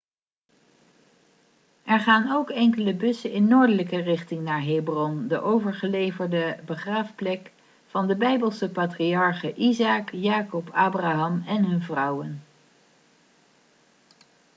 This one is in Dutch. er gaan ook enkele bussen in noordelijke richting naar hebron de overgeleverde begraafplek van de bijbelse patriarchen isaac jacob abraham en hun vrouwen